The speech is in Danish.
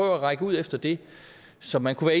at række ud efter det som man kunne